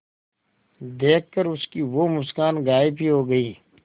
देखकर उसकी वो मुस्कान गायब ही हो गयी